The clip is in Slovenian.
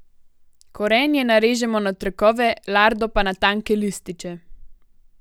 Korenje narežemo na trakove, lardo pa na tanke lističe.